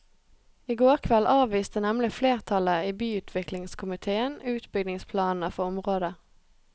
I går kveld avviste nemlig flertallet i byutviklingskomitéen utbyggingsplanene for området.